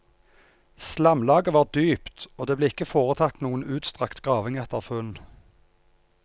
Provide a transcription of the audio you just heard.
Slamlaget var dypt, og det ble ikke foretatt noe utstrakt graving etter funn.